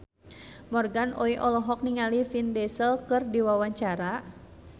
Morgan Oey olohok ningali Vin Diesel keur diwawancara